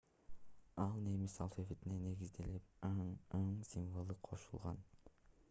ал немис алфавитине негизиделип õ / õ символу кошулган